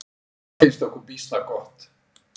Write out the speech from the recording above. Það finnst okkur býsna gott!